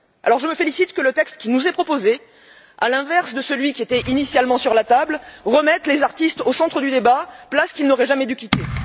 Je me félicite que le texte qui nous est proposé, à l'inverse de celui qui était initialement sur la table, remette les artistes au centre du débat, place qu'ils n'auraient jamais dû quitter.